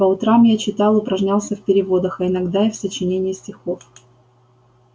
по утрам я читал упражнялся в переводах а иногда и в сочинении стихов